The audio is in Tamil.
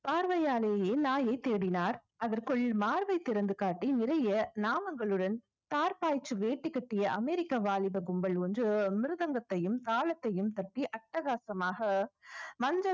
பார்வையாலேயே நாயைத் தேடினார் அதற்குள் மார்பை திறந்து காட்டி நிறைய நாமங்களுடன் தார் பாய்ச்சு வேட்டு கட்டிய அமெரிக்கா வாலிப கும்பல் ஒன்று மிருதங்கத்தையும் தாளத்தையும் தட்டி அட்டகாசமாக மஞ்சள்